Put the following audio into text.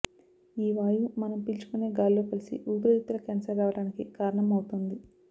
ఈ వాయువు మనం పీల్చుకునే గాల్లో కలిసి ఊపిరితిత్తుల క్యాన్సర్ రావడానికి కారణం అవుతోంది